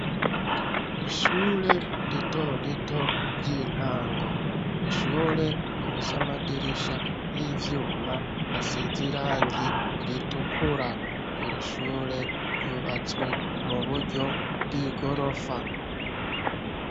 Ishure ritorito ry'intango, ishure rifis'amadirisha y'ivyuma as'izirangi ritukura, iri shure ryubatswe muburyo bw'igorofa